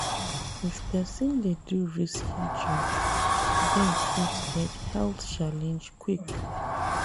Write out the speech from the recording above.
If person dey do risky job dem fit get health challenge quick